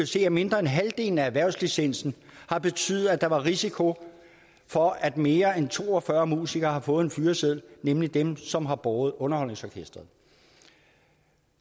se at mindre end halvdelen af erhvervslicensen har betydet at der var risiko for at mere end to og fyrre musikere har fået en fyreseddel nemlig dem som har båret underholdningsorkestret